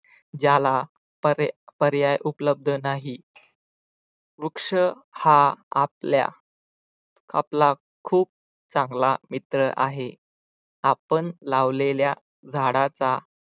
ज्याला पर्याय उपलब्ध नाही वृक्ष हा आपल्या आपला खूप चांगला मित्र आहे आपण लावलेल्या झाडाचा